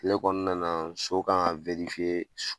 Tile kɔɔna na so kan ŋa s